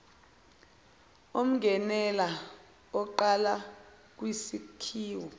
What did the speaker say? umngenela onqala kwisakhiwo